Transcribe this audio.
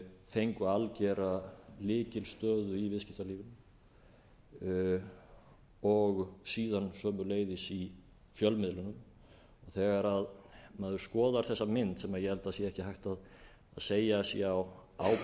fengu algjöra lykilstöðu í viðskiptalífinu og síðan sömuleiðis í fjölmiðlunum þegar maður skoðar þessa mynd sem ég held að sé ekki hægt að segja að sé á ábyrgð eins